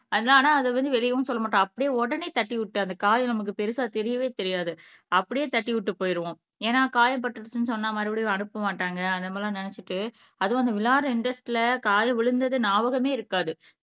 அத ஆனா அத வந்து வெளியவும் சொல்ல மாட்டோம் அப்படியே உடனே தட்டி விட்டு அந்த கால் நமக்கு பெருசா தெரியவே தெரியாது அப்படியே தட்டிவிட்டு போயிடுவோம். ஏன்னா காயப்பட்டுருச்சுன்னு சொன்னா மறுபடியும் அனுப்ப மாட்டாங்க அந்த மாதிரி எல்லாம் நினைச்சுட்டு அதுவும் அந்த விளையாடற இன்ட்ரெஸ்ட்ல கால் விழுந்தது ஞாபகமே இருக்காது.